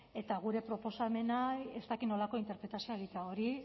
eta gure proposamenei ez dakit nolako interpretazioa egitea hori